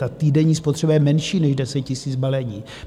Ta týdenní spotřeba je menší než 10 000 balení.